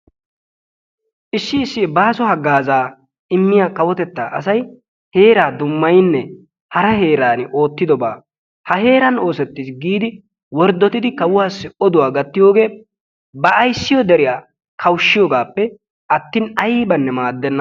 issi issi baaso hagaaza immiya kawotettaa asay heeraa dummayinne ha heeran oosetis giidi kawuwassi wordottinne oduwa gatiyoge ba ayssiyo deriysa qoheesippe attin aynne maadenna.